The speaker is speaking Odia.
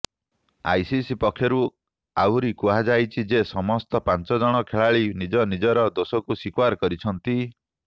ଆଇସିସି ପକ୍ଷରୁ ଆହୁରି କୁହାଯାଇଛି ଯେ ସମସ୍ତ ପାଞ୍ଚଜଣ ଖେଳାଳି ନିଜ ନିଜର ଦୋଷକୁ ସ୍ୱୀକାର କରିଛନ୍ତି